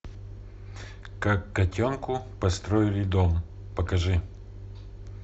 как котенку построили дом покажи